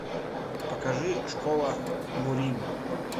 покажи школа мурим